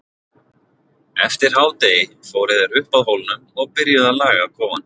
Eftir hádegi fóru þeir upp að hólnum og byrjuðu að laga kofann.